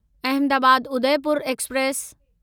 Ahmedabad Udaipur express